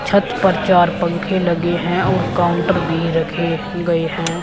छत पर चार पंख लगे हैं और काउंटर भी रखें गए हैं।